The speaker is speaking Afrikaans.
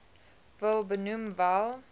wil benoem wel